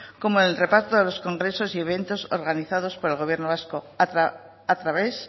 como en el reparto de los congresos y eventos organizados por el gobierno vasco a través